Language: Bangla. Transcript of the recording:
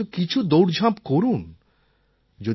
না হলে অন্তত কিছু দৌড়ঝাঁপ করুন